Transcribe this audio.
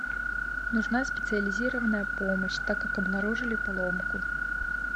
нужна специализированная помощь так как обнаружили поломку